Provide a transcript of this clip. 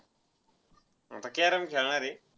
आता carrom खेळणार आहे.